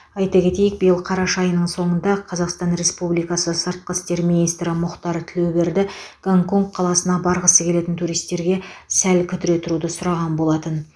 айта кетейік биыл қараша айының соңында қазақстан республикасы сыртқы істер министрі мұхтар тілеуберді гонконг қаласына барғысы келетін туристерге сәл кідіре тұруды сұраған болатын